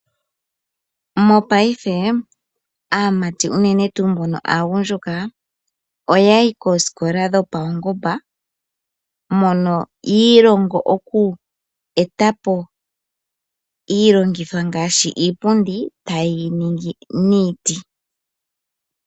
Mongaashingeyi aamati yaagundjuka ohaya yi koosikola dhopaungomba mono yiilongo okweetapo iilongitho ngaashi iipundi ta yeyi ningi miiti.